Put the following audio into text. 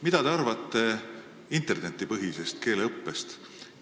Mida te arvate internetipõhisest keeleõppest?